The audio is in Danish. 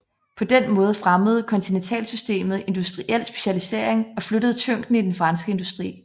På den måde fremmede kontinentalsystemet industriel specialisering og flyttede tyngden i den franske industri